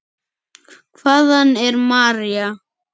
Hvaðan er María?